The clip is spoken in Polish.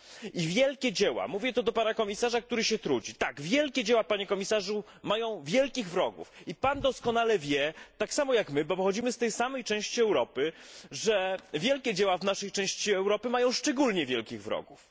I wielkie dzieła zwracam się z tym do komisarza, który się trudzi tak, wielkie dzieła, Panie Komisarzu, mają wielkich wrogów i Pan doskonale o tym wie, tak jak my, bo pochodzimy z tej samej części Europy, że wielkie dzieła w naszej części Europy mają szczególnie wielkich wrogów.